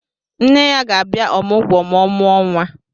Nne ya ga-abia ọmụgwọ ma o muo nwa.